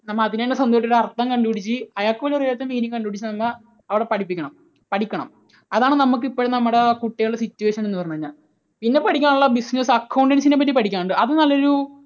നമ്മൾ അതിനെ സംബന്ധിച്ച് അർത്ഥം കണ്ടുപിടിച്ച് അയാൾക്ക് പോലുമറിയാത്ത meaning കണ്ടുപിടിച്ച് നമ്മൾ അവിടെ പഠിപ്പിക്കണം, പഠിക്കണം. അതാണ് നമുക്ക് ഇപ്പോൾ നമ്മുടെ കുട്ടികളുടെ situation എന്ന് പറഞ്ഞു കഴിഞ്ഞാൽ. പിന്നെ പഠിക്കാനുള്ളത് business, accounts നെ കുറിച്ച് പഠിക്കാനുണ്ട്. അത് നല്ല ഒരു